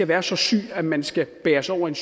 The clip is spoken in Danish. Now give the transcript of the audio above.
være så syg at man skal bæres over i